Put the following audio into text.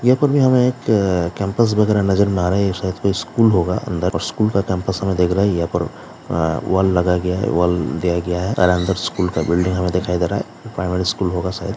यहाँ पर भी हमें एक कैंपस वगैरा नजर में आ रहा है ये शायद कोई स्कूल होगा अंदर और स्कूल का कैंपस हमें दिख रहा है यहाँ पर वॉल लगा गया है वॉल दिया गया है और अंदर स्कूल का बिल्डिंग हमें दिखाई दे रहा है प्राइमरी स्कूल होगा शायद।